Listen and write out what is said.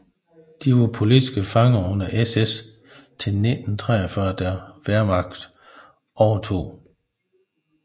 De var politiske fanger under SS til 1943 da Wehrmacht overtog